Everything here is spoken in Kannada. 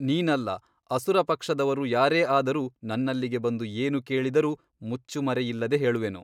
ನೀನಲ್ಲ ಅಸುರಪಕ್ಷದವರು ಯಾರೇ ಆದರೂ ನನ್ನಲ್ಲಿಗೆ ಬಂದು ಏನು ಕೇಳಿದರೂ ಮುಚ್ಚುಮರೆಯಿಲ್ಲದೆ ಹೇಳುವೆನು.